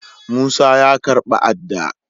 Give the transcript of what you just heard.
Musa ya karba ada.